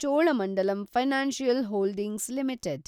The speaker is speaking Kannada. Cholamandalam financial holdings limited